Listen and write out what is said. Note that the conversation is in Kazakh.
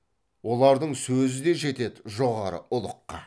олардың сөзі де жетеді жоғары ұлыққа